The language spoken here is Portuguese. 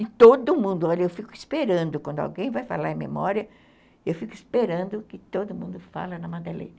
E todo mundo, olha, eu fico esperando quando alguém vai falar em Memória, eu fico esperando que todo mundo fale na Madeleine.